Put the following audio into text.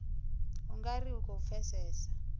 u nga ri khou pfesesa